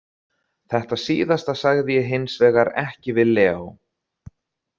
Þetta síðasta sagði ég hins vegar ekki við Leo.